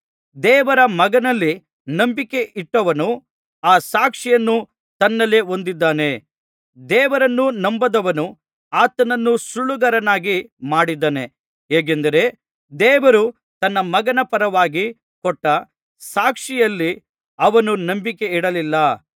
ದೇವರ ಮಗನಲ್ಲಿ ನಂಬಿಕೆ ಇಟ್ಟವನು ಆ ಸಾಕ್ಷಿಯನ್ನು ತನ್ನಲ್ಲೇ ಹೊಂದಿದ್ದಾನೆ ದೇವರನ್ನು ನಂಬದವನು ಆತನನ್ನು ಸುಳ್ಳುಗಾರನನ್ನಾಗಿ ಮಾಡಿದ್ದಾನೆ ಹೇಗೆಂದರೆ ದೇವರು ತನ್ನ ಮಗನ ಪರವಾಗಿ ಕೊಟ್ಟ ಸಾಕ್ಷಿಯಲ್ಲಿ ಅವನು ನಂಬಿಕೆಯಿಡಲಿಲ್ಲ